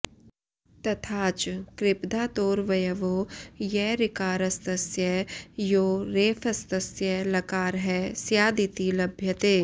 तथाच कृप्धातोरवयवो य ऋकारस्तस्य यो रेफस्तस्य लकारः स्यादिति लभ्यते